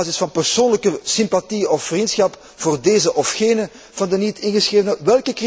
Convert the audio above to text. Op basis van persoonlijke sympathie of vriendschap voor deze of gene van de niet ingeschrevenen?